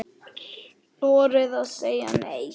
Þorið að segja NEI!